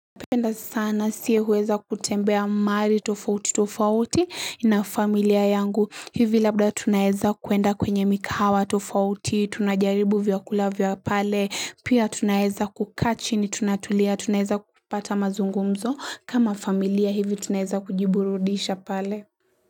Napenda sana si huweza kutembea mahalili tofauti tofauti na familia yangu hivi labda tunaeza kuenda kwenye mikahawa tofauti tunajaribu vyakula vyabpale pia tunaeza kukaa chini tunatulia tunaeza kupata mazungumzo kama familia hivi tunaeza kujiburudisha pale.